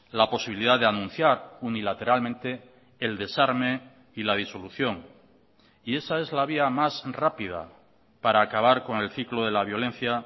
la posibilidad de anunciar unilateralmente el desarme y la disolución y esa es la vía más rápida para acabar con el ciclo de la violencia